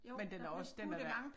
Men den er også den er